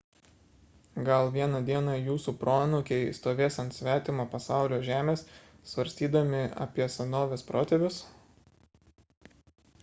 gal vieną dieną jūsų proanūkiai stovės ant svetimo pasaulio žemės svarstydami apie savo senovės protėvius